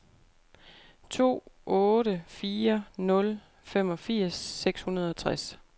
to otte fire nul femogfirs seks hundrede og tres